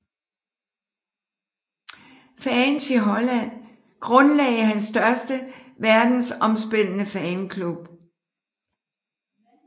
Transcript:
Fans i Holland grundlagde hans største verdensomspændende fanklub